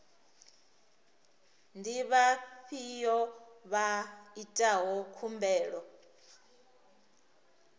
ndi vhafhiyo vha itaho khumbelo